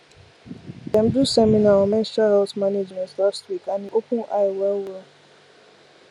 dem do seminar on menstrual health management last week and e open eye wellwell